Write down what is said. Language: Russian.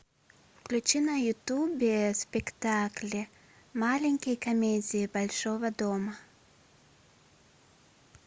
включи на ютубе спектакли маленькие комедии большого дома